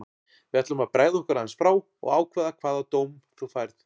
Við ætlum að bregða okkur aðeins frá og ákveða hvaða dóm þú færð.